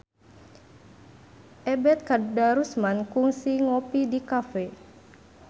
Ebet Kadarusman kungsi ngopi di cafe